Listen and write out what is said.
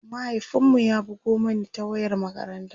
mahaifin mu ya bugo Mani ta wayar makaranta